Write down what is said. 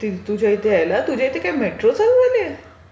तुझ्या इथे यायला. तुझ्या इथे काय मेट्रो चालू झालीय?